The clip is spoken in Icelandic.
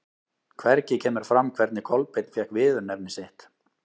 Hvergi kemur fram hvernig Kolbeinn fékk viðurnefni sitt.